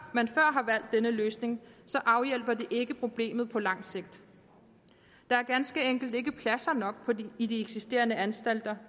man før har valgt denne løsning så afhjælper det ikke problemet på lang sigt der er ganske enkelt ikke pladser nok i de eksisterende anstalter